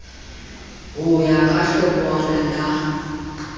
ho ya ka hlokwana la